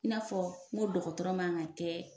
I n'a fɔ n go dɔgɔtɔrɔ man ka kɛ